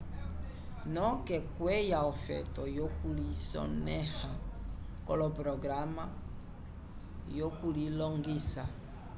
noke kwiya ofeto yo kulisoneha koloprograma yo kulilongisa